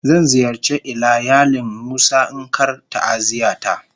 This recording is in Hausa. Zan ziyarce ilayalin musa in Kar ta'aziyya ta.